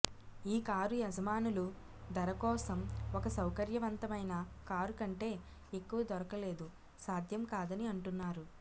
ఈ కారు యజమానులు ధర కోసం ఒక సౌకర్యవంతమైన కారు కంటే ఎక్కువ దొరకలేదు సాధ్యం కాదని అంటున్నారు